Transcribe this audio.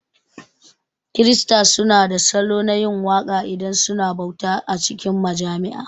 Kirista su na da salo na yin waka idan suna bauta a cikin majami'a